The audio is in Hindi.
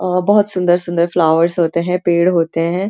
अ बहुत सुन्दर-सुन्दर फ्लावर्स होते हैं पेड़ होते हैं।